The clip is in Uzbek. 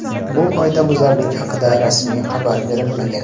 Bu qoidabuzarlik haqida rasmiy xabar berilmagan.